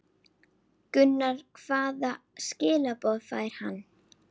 Gunnar: Hvaða skilaboð fær hann?